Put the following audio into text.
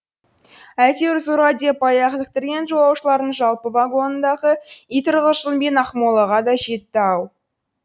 әйтеуір зорға деп аяқ іліктірген жолаушылардың жалпы вагонындағы ит ырғылжыңмен ақмолаға да жетті ау